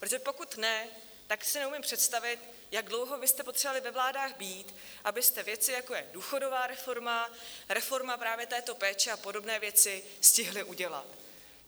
Protože pokud ne, tak si neumím představit, jak dlouho byste potřebovali ve vládách být, abyste věci, jako je důchodová reforma, reforma právě této péče a podobné věci, stihli udělat.